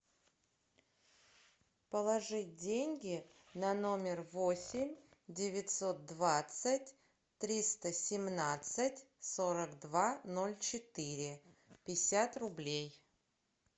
положить деньги на номер восемь девятьсот двадцать триста семнадцать сорок два ноль четыре пятьдесят рублей